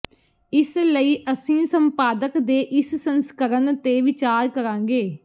ਇਸ ਲਈ ਅਸੀਂ ਸੰਪਾਦਕ ਦੇ ਇਸ ਸੰਸਕਰਣ ਤੇ ਵਿਚਾਰ ਕਰਾਂਗੇ